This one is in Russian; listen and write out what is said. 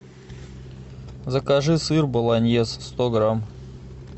закажи сыр болоньез сто грамм